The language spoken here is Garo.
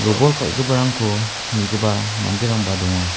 robol kal·giparangko nigipa manderangba donga.